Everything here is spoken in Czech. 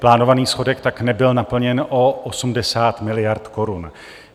Plánovaný schodek tak nebyl naplněn o 80 miliard korun.